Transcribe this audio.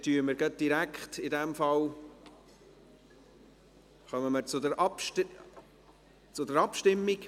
In diesem Fall kommen wir direkt zur Abstimmung.